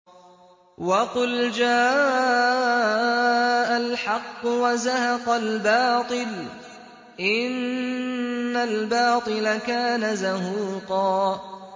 وَقُلْ جَاءَ الْحَقُّ وَزَهَقَ الْبَاطِلُ ۚ إِنَّ الْبَاطِلَ كَانَ زَهُوقًا